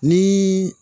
Ni